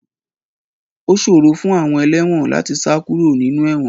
Ó ṣòro fún àwọn ẹlẹ́wọ̀n láti sá kúrò nínú ẹ̀wọ̀n